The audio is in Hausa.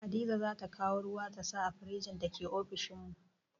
Hadiza zata kawo ruwa ta sa a firjin da ke ofishin mu